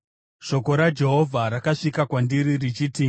Shoko raJehovha rakasvika kwandiri richiti,